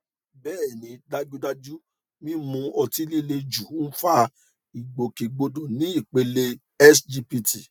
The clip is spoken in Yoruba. bẹẹni dájúdájú mímu ọtí líle jù ń fa ìgbòkègbodò ní ipele sgpt